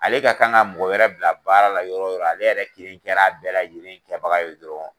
Ale ka kan ka mɔgɔ wɛrɛ bila baara la yɔrɔ yɔrɔ ale yɛrɛ kelen kɛra a bɛɛ lajɛlen kɛbaga ye dɔrɔn.